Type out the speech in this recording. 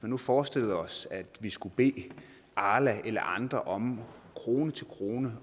nu forestillede os at vi skulle bede arla eller andre om krone til krone